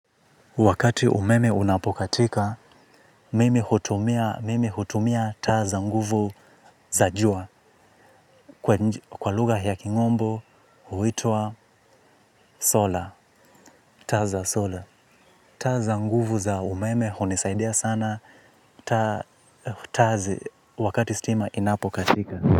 Wakati umeme unapokatika, mimi hutumia mimi hutumia taa za nguvu za jua kwa nj kwa lugha ya kimombo huitwa sola, taa za sola. Taa za nguvu za umeme hunisaidia sana taa taa zi wakati stima inapokatika.